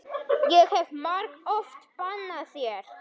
Ég hef margoft bannað þér.